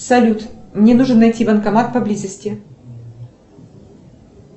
салют мне нужно найти банкомат поблизости